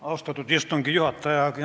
Austatud istungi juhataja!